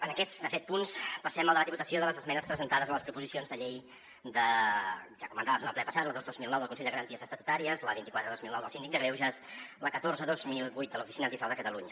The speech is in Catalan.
en aquests de fet punts passem al debat i votació de les esmenes presentades a les proposicions de llei ja comentades en el ple passat la dos dos mil nou del consell de garanties estatutàries la vint quatre dos mil nou del síndic de greuges i la catorze dos mil vuit de l’oficina antifrau de catalunya